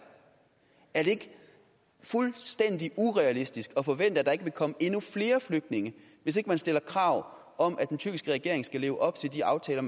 er det ikke fuldstændig urealistisk at forvente at der ikke vil komme endnu flere flygtninge hvis ikke man stiller krav om at den tyrkiske regering skal leve op til de aftaler